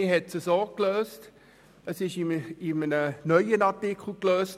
Man hat es mit diesem Artikel 57d gelöst.